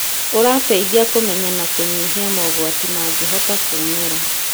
ũrateithia kũmenya na kũnyihia mogwati mangĩhota kũũmĩra.